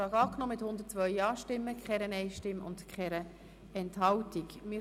Sie haben diesen Antrag mit 102 Ja- gegen 0 Nein-Stimmen bei 0 Enthaltungen angenommen.